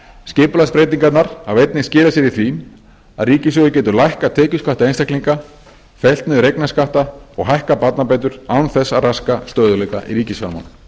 skipulagsbreytingarnar hafa einnig skilað sér í því að ríkissjóður getur lækkað tekjuskatta einstaklinga fellt niður eignarskatta og hækkað barnabætur án þess að raska stöðugleika í ríkisfjármálum